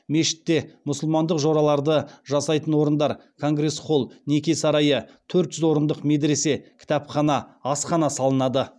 мешітте мұсылмандық жораларды жасайтын орындар конгресс холл неке сарайы төрт жүз орындық медресе кітапхана асхана салынады